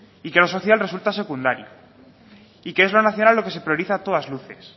y que lo social resulta secundario y que es lo nacional lo que se prioriza a todas luces